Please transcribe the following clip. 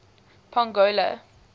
pongola